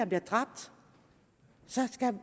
bliver dræbt